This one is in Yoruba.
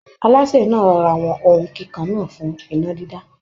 Alásè náà rọra wọn ohun kíkan náà fún iná dídá